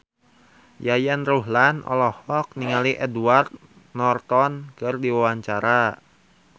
Yayan Ruhlan olohok ningali Edward Norton keur diwawancara